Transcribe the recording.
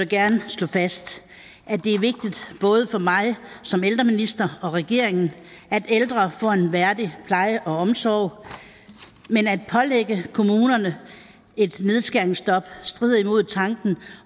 gerne slå fast at det er vigtigt både for mig som ældreminister og for regeringen at ældre får en værdig pleje og omsorg men at pålægge kommunerne et nedskæringsstop strider imod tanken